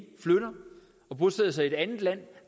flytter og bosætter sig i et andet land